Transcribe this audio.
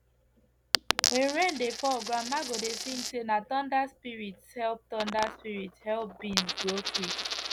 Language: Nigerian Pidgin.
when rain dey fall grandma go dey sing say na thunder spirits help thunder spirits help beans grow quick